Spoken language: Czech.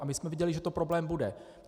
A my jsme věděli, že to problém bude.